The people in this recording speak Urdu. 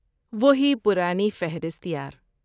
وہی پرانی فہرست، یار۔